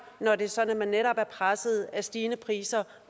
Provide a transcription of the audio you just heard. når det er sådan at man netop er presset af stigende priser